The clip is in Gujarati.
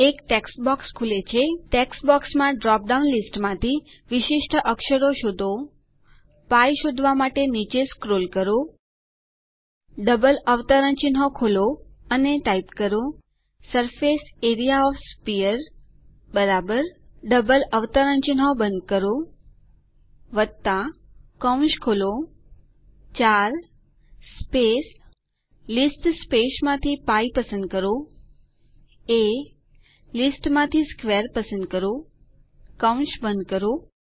એક ટેક્સ્ટ બોક્સ ખુલે છે ટેક્સ્ટ બોક્સમાં ડ્રોપ ડાઉન લીસ્ટમાં વિશિષ્ટ અક્ષરો શોધો π શોધવા માટે નીચે સ્ક્રોલ કરો ડબલ અવતરણચિહ્નો ખોલો અને ટાઇપ કરો surface A R E A O F the sphere double અવતરણચિહ્નો બંધ કરો કૌંસ ખોલો 4 સ્પેસ લીસ્ટ સ્પેસમાંથી π પસંદ કરો એ લીસ્ટમાંથી સ્ક્વેર પસંદ કરો કૌંસ બંધ કરો